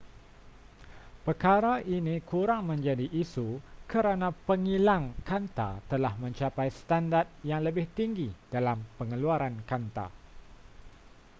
perkara ini kurang menjadi isu kerana pengilang kanta telah mencapai standard yang lebih tinggi dalam pengeluaran kanta